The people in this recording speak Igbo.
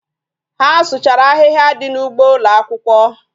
Ha sụchara ahịhịa dị n'ụgbọ ụlọakwụkwọ